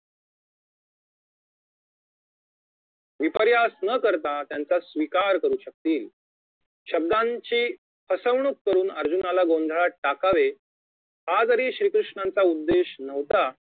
विपर्यास न करता त्यांचा स्वीकार करु शकतील शब्दांची फसवणूक करुन अर्जुनाला गोंधळात टाकावे हा जरी श्री कृष्णांचा उद्देश नव्हता